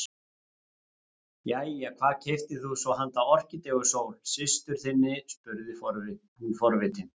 Jæja, hvað keyptir þú svo handa Orkídeu Sól systur þinni spurði hún forvitin.